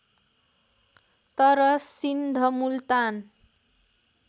तर सिन्ध मुल्तान